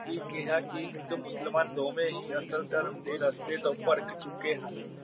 ਵੀ ਕਹਿਆ ਹਿੰਦ ਮੁਸਲਮਾਨ ਦੋਵੇ ਹੀ ਅਸਲ ਧਰਮ ਦੇ ਰਸਤੇ ਤੋਂ ਪਰਖ ਚੁਕੇ ਹਨ।